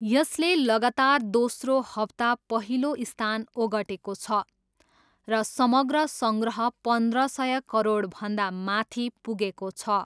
यसले लगातार दोस्रो हप्ता पहिलो स्थान ओगटेको छ र समग्र सङ्ग्रह पन्ध्र सय करोडभन्दा माथि पुगेको छ।